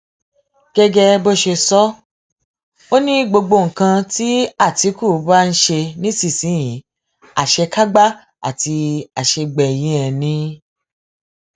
gẹgẹ bó ṣe sọ ọ ni gbogbo nǹkan tí àtìkù bá ń ṣe nísìnyìí àṣekágbá àti àṣegbẹyìn ẹ ni